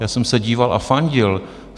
Já jsem se díval a fandil.